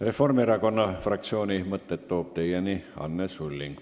Reformierakonna fraktsiooni mõtted toob teieni Anne Sulling.